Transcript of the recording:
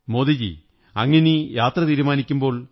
മോദിജീ അങ്ങിനി യാത്ര തീരുമാനിക്കുമ്പോൾ